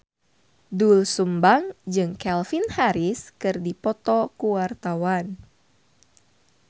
Doel Sumbang jeung Calvin Harris keur dipoto ku wartawan